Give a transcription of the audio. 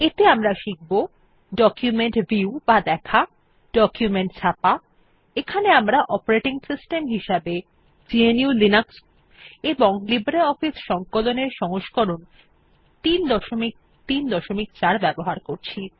এতে আমরা শিখব ডকুমেন্ট ভিউ বা দেখা ডকুমেন্ট ছাপা এখানে আমরা অপারেটিং সিস্টেম হিসেবে গ্নু লিনাক্স এবং লিব্রিঅফিস সংকলন এর সংস্করণ ৩৩৪ ব্যবহার করছি